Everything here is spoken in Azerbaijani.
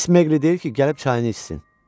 Mis Meqli deyir ki, gəlib çayını içsin.